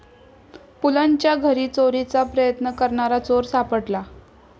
पुलंच्या घरी चोरीचा प्रयत्न करणारा चोर सापडला